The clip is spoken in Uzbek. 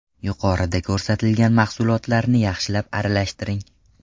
Yuqorida ko‘rsatilgan mahsulotlarni yaxshilab aralashtiring.